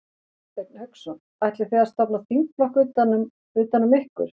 Hafsteinn Hauksson: Ætlið þið að stofna þingflokk utan um, utan um ykkur?